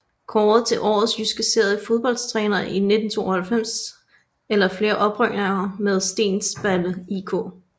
Kåret til Årets Jyske Serie Fodboldtræner i 1992 efter flere oprykninger med Stensballe IK